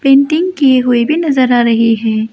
Painting कि हुई भी नजर आ रही है।